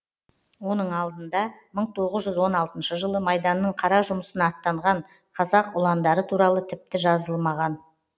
оның алдында мың тоғыз жүз он алтыншы жылы майданның қара жұмысына аттанған қазақ ұландары туралы тіпті жазылмаған